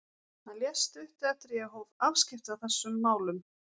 Hann lést stuttu eftir að ég hóf afskipti af þessum málum.